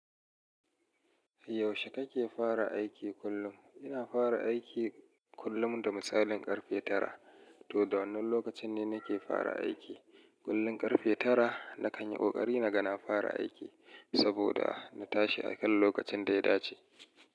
Yaushe kake fara aiki kullum? Ina fara aiki kullum da misalin ƙarfe tara. To, da wannan lokacin ne nake fara aiki. Kullum ƙarfe tara na kan yi ƙoƙari na ga na fara aiki saboda na tashi a kan lokacin da ya dace.